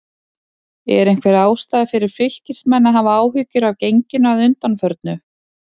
Er einhver ástæða fyrir Fylkismenn að hafa áhyggjur af genginu að undanförnu?